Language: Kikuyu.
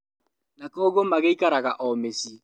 Na koguo magĩikaraga o mĩciĩ